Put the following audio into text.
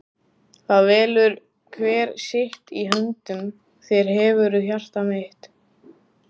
það velur hver sitt- í höndum þér hefurðu hjarta mitt.